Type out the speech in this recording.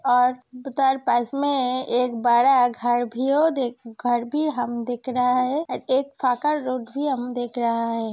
और पास मे एक बड़ा घर भियो घर भी हम दिख रहा है और एक रोड भी हम देख रहा है।